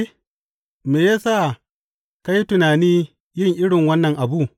Me ya sa ka yi tunanin yin irin wannan abu?